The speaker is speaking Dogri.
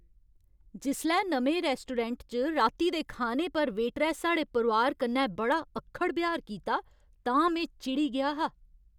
जिसलै नमें रेस्टोरैंट च राती दे खाने पर वेटरै साढ़े परोआर कन्नै बड़ा अक्खड़ ब्यहार कीता तां में चिड़ी गेआ हा।